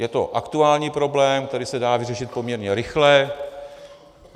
Je to aktuální problém, který se dá vyřešit poměrně rychle.